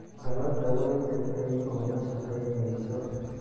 Dallada way jabtay oo ma shaqaynayso.